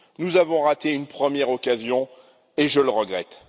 Nous avons raté une première occasion et je le regrette.